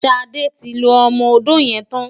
Ṣadé ti lo ọmọ-odó yẹn tán.